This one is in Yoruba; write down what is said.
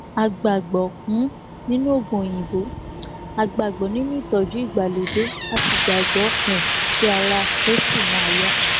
a gbàgbọ um nínú oògùn òyìnbó a gbàgbọ nínú ìtọjú ìgbàlódé a sì gbàgbọ um pé ara àkẹtì máa yá